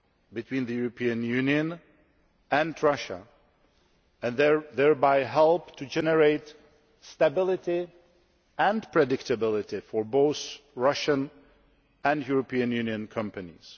between the European Union and Russia, thereby helping to generate stability and predictability for both Russian and European Union companies.